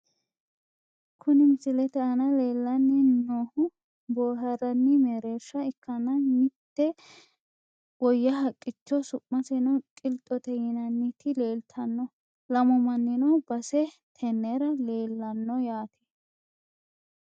Kuni misilete aana leellanni noohu boohaarranni mereersha ikkanna mitte woyya haqqicho su'maseno qilxote yinanniti leeltanno . lamu mannino base tennera leellanno yaate.